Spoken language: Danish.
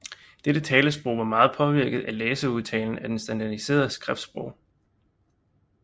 Dette talesprog var meget påvirket af læseudtalen af det standardiserede skriftsprog